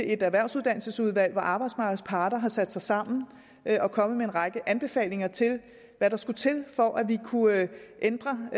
et erhvervsuddannelsesudvalg hvor arbejdsmarkedets parter har sat sig sammen og er kommet med en række anbefalinger til hvad der skulle til for at vi kunne ændre